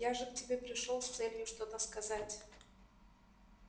я же к тебе пришёл с целью что-то сказать